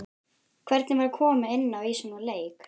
Hvernig var að koma inná í svona leik?